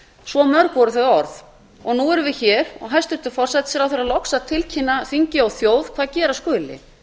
svo mörg voru þau orð og nú erum við hér og hæstvirtur forsætisráðherra loks að tilkynna þingi og þjóð hvað gera skuli